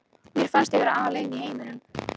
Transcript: Mér fannst ég vera alein í heiminum.